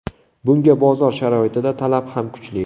Bunga bozor sharoitida talab ham kuchli.